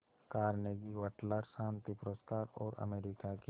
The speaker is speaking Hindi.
कार्नेगी वटलर शांति पुरस्कार और अमेरिका के